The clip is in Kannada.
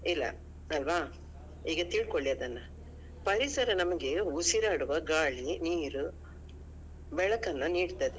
ಇಲ್ಲ ಅಲ್ವಾ ಈಗ ತಿಳ್ಕೊಳಿ ಅದನ್ನಾ. ಪರಿಸರ ನಮ್ಗೆ ಉಸಿರಾಡುವ ಗಾಳಿ ನೀರು ಬೆಳಕನ್ನಾ ನೀಡ್ತದೆ.